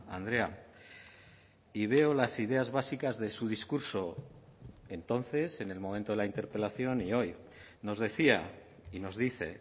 andrea y veo las ideas básicas de su discurso entonces en el momento de la interpelación y hoy nos decía y nos dice